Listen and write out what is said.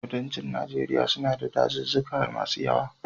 Kudancin Najeriya na da dazuzzuka masu yawa.